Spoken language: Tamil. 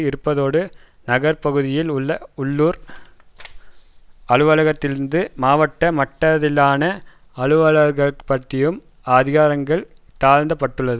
இருப்பதோடு நகர்பகுதியில் உள்ள உள்ளூர் அலுவலர்களினதும் மாவட்ட மட்டத்திலான அலுவலர்களினதும் அதிகாரங்கள் தாழ்ந்தப்பட்டுள்ளது